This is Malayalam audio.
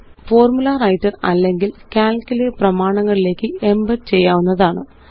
ഫോര്മുലWriter അല്ലെങ്കില് കാൽക്ക് ലെ പ്രമാണങ്ങളിലേയ്ക്ക് എംബഡ് ചെയ്യാവുന്നതാണ്